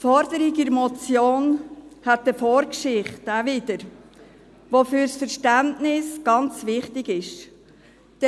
Die Forderung dieser Motion hat auch wieder eine Vorgeschichte, die für das Verständnis ganz wichtig ist.